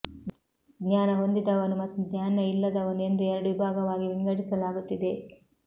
ಜ್ಞಾನ ಹೊಂದಿದವನು ಮತ್ತು ಜ್ಞಾನ ಇಲ್ಲದವನು ಎಂದು ಎರಡು ವಿಭಾಗವಾಗಿ ವಿಂಗಡಿಸಲಾಗುತ್ತಿದೆ